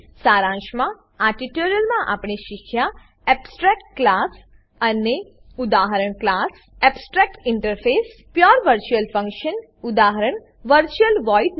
સારાંશમાં આ ટ્યુટોરીયલમાં આપણે શીખ્યા એબ્સ્ટ્રેક્ટ ક્લાસ એબસ્ટ્રેક્ટ ક્લાસ ઉદાક્લાસ abstractinterfaceએબ્સટ્રેક interface pure virtual function pure virtual function ઉદા